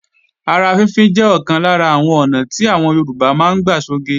Ara fínfín jẹ́ ọ̀kan lára àwọn ọ̀nà tí àwọn Yorùbá máa ń gbà sọge